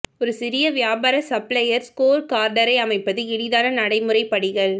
ஒரு சிறிய வியாபார சப்ளையர் ஸ்கோர் கார்டரை அமைப்பது எளிதான நடைமுறை படிகள்